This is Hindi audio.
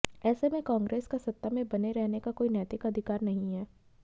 ऐसे में कांग्रेस का सत्ता में बने रहने का कोई नैतिक अधिकार नहीं है